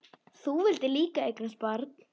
Þú vildir líka eignast barn.